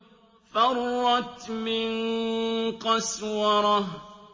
فَرَّتْ مِن قَسْوَرَةٍ